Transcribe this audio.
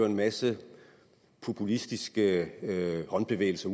en masse populistiske håndbevægelser